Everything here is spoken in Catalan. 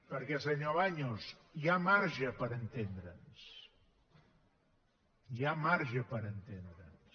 perquè senyor baños hi ha marge per entendre’ns hi ha marge per entendre’ns